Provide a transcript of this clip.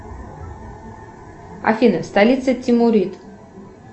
афина столица тимурид